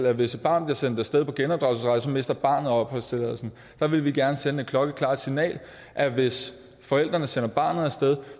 at hvis et barn bliver sendt af sted på genopdragelsesrejse mister barnet opholdstilladelsen der vil vi gerne sende det klokkeklare signal at hvis forældrene sender barnet af sted